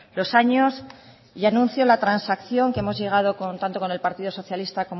los años y anuncio la transacción que hemos llegado con tanto con el partido socialista